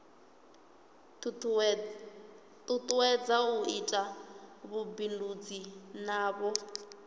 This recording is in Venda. tutuwedza u ita vhubindudzi navho